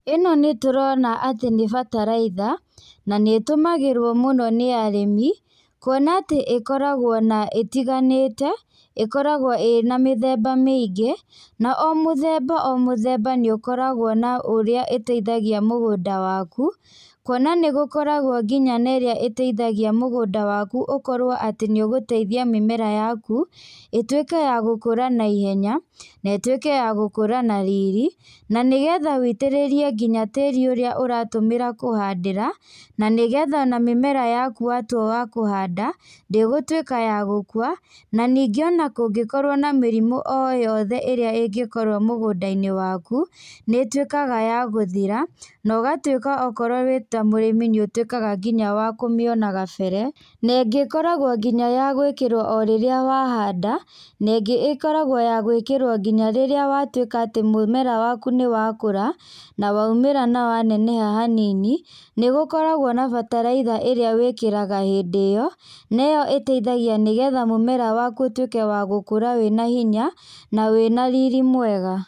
ĩno nĩtũrona atĩ nĩ bataraitha, nanĩtũmagĩrwo mũno nĩ arĩmi, kuona atĩ ĩkoragwo na ĩtiganĩte, ĩkoragwo ĩna mĩthemba mĩingĩ, na o mũthemba o mũthemba nĩũkoragwo na ũrĩa ĩteithagia mũgũnda waku, kuona nĩgũkoragwo nginya na írĩa ĩteithagia mũgũnda waku ũkorwo atĩ nĩũgũteithia mĩmera yaku, ĩtwĩke ya gũkũra naihenya, netwĩke ya gũkũra na riri, na nĩgetha wũitĩrĩrie nginya tĩri ũrĩa ũratũmĩra kũhanda, na nĩgetha na mĩmera yaku watua wa kũhanda, ndĩgũtwĩka ya gũkua, na ningĩ ona kũngĩkorwo na mĩrimũ o yothe ĩrĩa ĩngĩkorwo mũgũnda-inĩ waku, nĩtwĩkaga ya gũthira, nogatwĩka okorwo wĩ ta mũrĩmi nĩũtwĩkaga nginya wa kũmĩona gabere, nengĩ ĩkoragwo nginya ya gwĩkĩrwo o rĩrĩa wa handa, nengĩ ĩkoragwo ya gwĩkĩrwo nginya rĩrĩa watwĩka atĩ mũmera waku nĩwakũra, nawaumĩra na waneneha hanini, nĩgũkoragwo na bataraitha ĩrĩa wĩkĩraga hĩndĩ ĩyo, neyo ĩteithagia nĩgetha mũmera waku ũtwĩke wa gũkũra wĩna hinya na wĩna riri mwega.